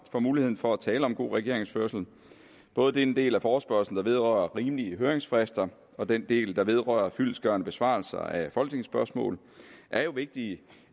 for muligheden for at tale om god regeringsførelse både den del af forespørgslen der vedrører rimelige høringsfrister og den del der vedrører fyldestgørende besvarelse af folketingsspørgsmål er jo vigtige